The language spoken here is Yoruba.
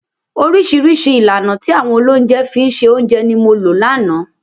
Oríṣiríṣi ìlànà tí àwọn olóúnjẹ fi ń se oúnjẹ ni mo lò lánàá.